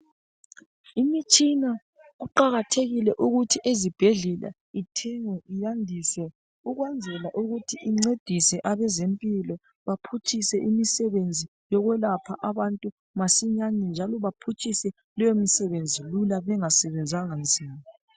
imitshina kuqhakathekile ukuthi ezibhedlela uthengwe uyandiswe ukwenzela ukuthi incedise abezempilo baphutshise imisebenzi yokwelapha abantu masinyanye njalo baphutshise leyo msebenzi kalula bengasebenzanga nzima